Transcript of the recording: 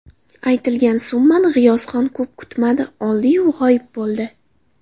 Aytilgan summani G‘iyosxon ko‘p kutmadi oldi-yu g‘oyib bo‘ldi.